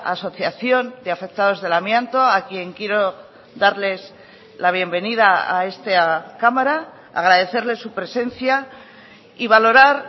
asociación de afectados del amianto a quien quiero darles la bienvenida a esta cámara agradecerles su presencia y valorar